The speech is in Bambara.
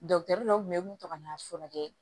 dɔw kun bɛ mun ta ka n'a furakɛ